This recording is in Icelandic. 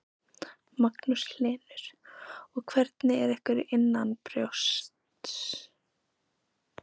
Magnús Hlynur: Og hvernig er ykkur innanbrjósts?